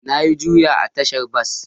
Na yi Juya a tashar bas